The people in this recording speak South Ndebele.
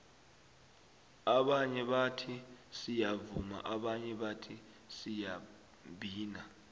abanye bathi siyavuma abanye bathi siyabhina